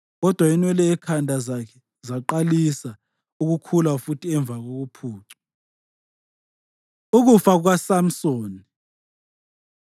Kodwa inwele ekhanda lakhe zaqalisa ukukhula futhi emva kokuphucwa. Ukufa KukaSamsoni